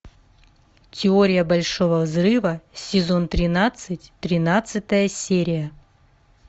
теория большого взрыва сезон тринадцать тринадцатая серия